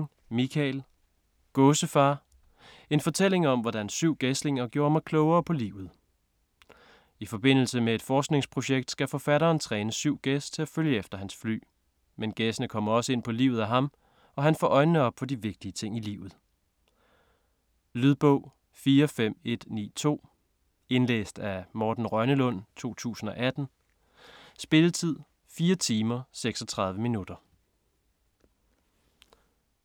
Quetting, Michael: Gåsefar: en fortælling om hvordan syv gæslinger gjorde mig klogere på livet I forbindelse med et forskningsprojekt skal forfatteren træne syv gæs til at følge efter hans fly. Men gæssene kommer også ind på livet af ham, og han får øjnene op for de vigtige ting i livet. Lydbog 45192 Indlæst af Morten Rønnelund, 2018. Spilletid: 4 timer, 36 minutter.